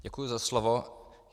Děkuji za slovo.